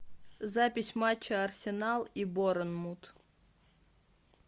запись матча арсенал и борнмут